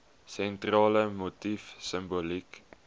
sentrale motief simboliek